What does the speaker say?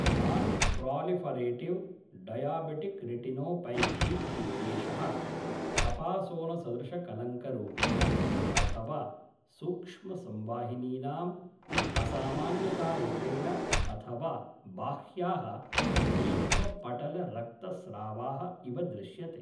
Nonproliferative diabetic retinopathy इत्येषः कपासोनसदृशकलङ्करूपेण, अथ वा सूक्ष्मसंवाहिनीनाम् असामान्यतारूपेण अथ वा बाह्याः नेत्रपटलरक्तस्रावाः इव दृश्यते।